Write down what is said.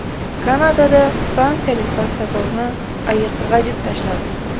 Kanadada fransiyalik bastakorni ayiq g‘ajib tashladi.